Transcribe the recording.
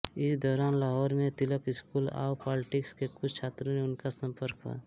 इस दौरान लाहौर में तिलक स्कूल ऑव पॉलिटिक्स के कुछ छात्रों से उनका संपर्क हुआ